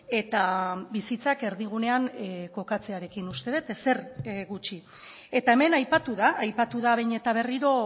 eta bizitzak erdigunean kokatzearekin uste dut ezer gutxi eta hemen aipatu da aipatu da behin eta berriro